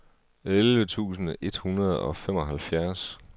elleve tusind et hundrede og femoghalvfjerds